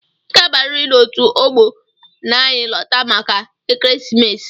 i ga abariri n'otu ọgbọ na-anyi lota màkà ekeresimesi!!!